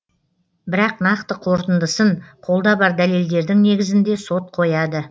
бірақ нақты қорытындысын қолда бар дәлелдердің негізінде сот қояды